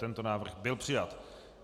Tento návrh byl přijat.